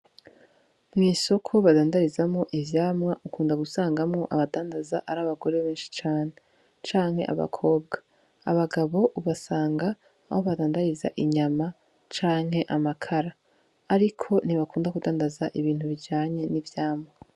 Mw'isoko badandarizamwo ivyamwa ukunda gusangamwo abadandaza ar'abagore benshi cane, canke abakobwa . Abagabo ubasanga aho badandariza inyama canke amakara ariko ntibakunda kudandaza ibintu bijanye n'ivyamwa.